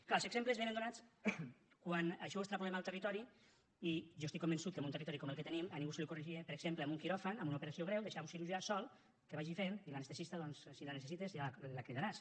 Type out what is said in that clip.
clar els exemples vénen donats quan això ho extrapolem al territori i jo estic convençut que en un territori com el que tenim a ningú se li ocorreria per exemple en un quiròfan en una operació greu deixar un cirurgià sol que vagi fent i l’anestesista doncs si la necessites ja la cridaràs